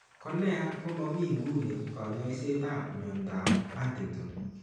Ko neya, ko momi ng'uni kaany'ayseetap mnyandoap Huntington .